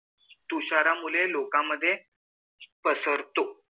तुशारा मुले लोका मध पसरत